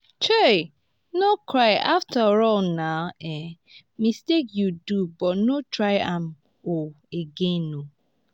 um no cry afterall na um mistake you do but no try am um again oo